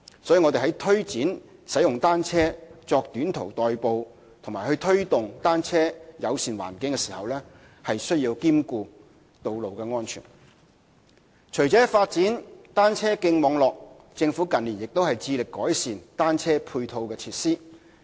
所以，我們在推展使用單車作短途代步和推動單車友善的環境時，也需要兼顧道路安全。除了發展單車徑網絡，政府近年亦致力改善單車配套設施。